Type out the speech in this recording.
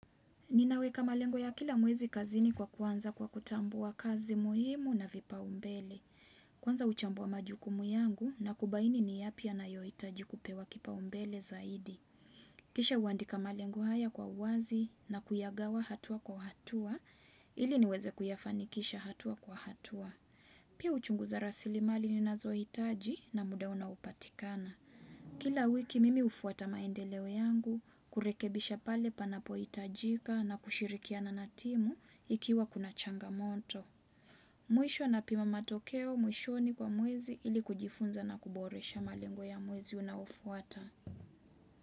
Ninaweka malengo ya kila mwezi kazini kwa kuanza kwa kutambua kazi muhimu na vipa umbele. Kwanza huchambua majukumu yangu na kubaini ni yapi yanayohitaji kupewa kipa umbele zaidi. Kisha uandika malengo haya kwa uwazi na kuyagawa hatua kwa hatua ili niweze kuyafanikisha hatua kwa hatua. Pia huchungu za rasili mali ni nazo hitaji na muda unao patikana. Kila wiki mimi hufuata maendeleo yangu kurekebisha pale panapo hitajika na kushirikia na natimu ikiwa kuna changamoto. Mwisho na pima matokeo mwishoni kwa mwezi ili kujifunza na kuboresha malengo ya mwezi unaofuata.